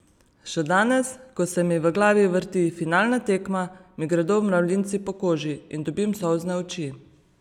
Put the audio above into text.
Še danes, ko se mi v glavi vrti finalna tekma, mi gredo mravljinci po koži in dobim solzne oči.